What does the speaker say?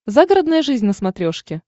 загородная жизнь на смотрешке